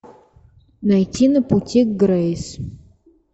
найти на пути к грейс